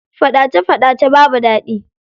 Faɗace faɗace babu daɗi.